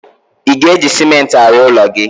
Ị ga-eji Simenti arụ ụlọ gị?